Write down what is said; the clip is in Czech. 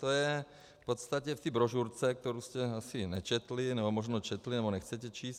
To je v podstatě v té brožurce, kterou jste asi nečetli, nebo možná četli, nebo nechcete číst.